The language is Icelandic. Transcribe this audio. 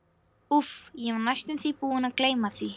Úff, ég var næstum því búinn að gleyma því.